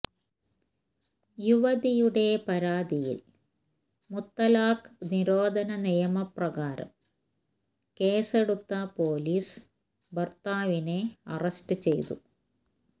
യുവതിയുടെ പരാതിയില് മുത്തലാഖ് നിരോധന നിയമ പ്രകാരം കേസെടുത്ത പോലീസ് ഭര്ത്താവിനെ അറസ്റ്റ് ചെയ്തു